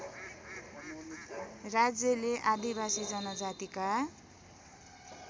राज्यले आदिवासी जनजातिका